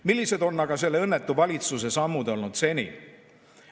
Millised on aga selle õnnetu valitsuse sammud olnud seni?